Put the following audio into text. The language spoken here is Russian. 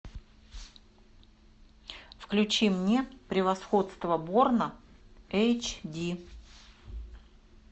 включи мне превосходство борна эйч ди